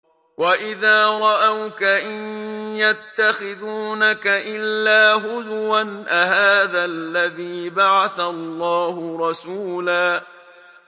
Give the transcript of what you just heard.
وَإِذَا رَأَوْكَ إِن يَتَّخِذُونَكَ إِلَّا هُزُوًا أَهَٰذَا الَّذِي بَعَثَ اللَّهُ رَسُولًا